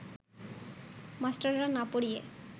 মাস্টাররা না পড়িয়ে